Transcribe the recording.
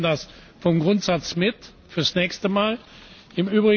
Aber wir nehmen das vom Grundsatz für das nächste Mal mit.